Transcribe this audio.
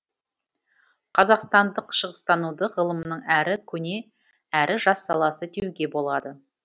қазақстандық шығыстануды ғылымның әрі көне әрі жас саласы деуге болады